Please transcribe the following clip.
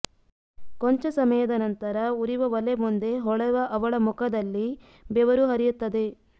ಕೊಂಚ ಸಮಯದ ನಂತರ ಉರಿವ ಒಲೆ ಮುಂದೆ ಹೊಳೆವ ಅವಳ ಮುಖದಲ್ಲಿ ಬೆವರು ಹರಿಯತ್ತದೆ